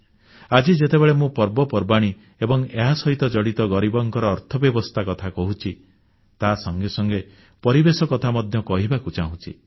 ଆଜି ଯେତେବେଳେ ମୁଁ ପର୍ବପର୍ବାଣୀ ଏବଂ ଏହାସହିତ ଜଡ଼ିତ ଗରିବଙ୍କ ଅର୍ଥବ୍ୟବସ୍ଥା କଥା କହୁଛି ତା ସଙ୍ଗେ ସଙ୍ଗେ ପରିବେଶ କଥା ମଧ୍ୟ କହିବାକୁ ଚାହୁଁଛି